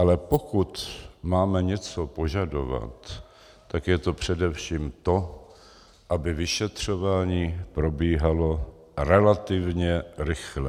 Ale pokud máme něco požadovat, tak je to především to, aby vyšetřování probíhalo relativně rychle.